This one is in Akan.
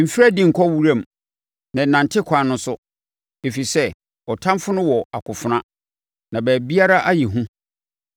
Mfiri adi nkɔ wiram na nnante akwan no so, ɛfiri sɛ ɔtamfoɔ no wɔ akofena, na baabiara ayɛ hu.